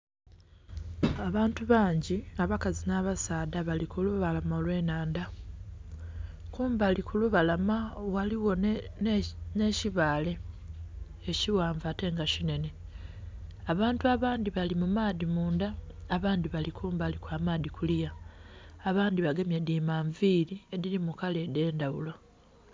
Abantu bangi abakazi nha basaadha bali kulubalama olwennhandha, kumbali kulubalama ghaligho nhe kibale ekighanvu ate nga kinhenhe. Abantu abandhi abali mumaadhi mundha abandhi bali kumbali kwa maadhi kuliya, abandhi bagemye dhimanvili edhili mukala edhendhaghulo.